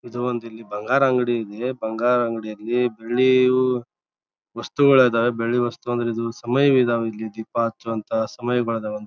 ಇದೊಂದು ಇಲ್ಲಿ ಬಂಗಾರ ಅಂಗಡಿ ಇದೆ. ಬಂಗಾರ ಅಂಗಡಿಯಲ್ಲಿ ಬೆಳ್ಳಿಯು ವಸ್ತುಗಳು ಅದ. ಬೆಳ್ಳಿ ವಸ್ತು ಅಂದ್ರ ಸಮಯ ಇದಾವೆ ಇಲ್ಲಿ ದೀಪ ಹಚ್ಚುವಂಥ ಸಮಯಗಳ ಅದಾವ್ .